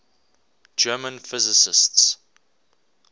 german physicists